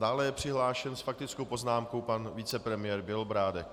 Dále je přihlášen s faktickou poznámkou pan vicepremiér Bělobrádek.